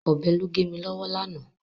Ọ̀bẹ ló gé mi lọ́wọ́ lánàá.